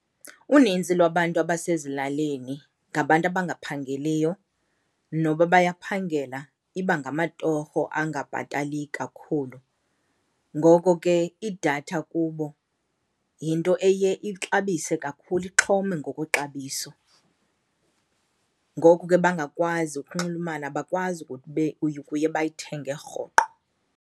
Uninzi lwabantu abasezilalini ngabantu abangaphangeliyo, noba bayaphangela iba ngamatorho angabhatali kakhulu. Ngoko ke idatha kubo yinto eye ixabise kakhulu, ixhome ngokwexabiso, ngoku ke bangakwazi ukunxulumana, abakwazi ukube ukuye bayithenge rhoqo.